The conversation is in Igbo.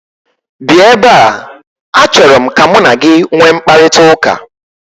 Bịa ebe a, achọrọ m ka mụ na gị nwee mkparịtaụka!!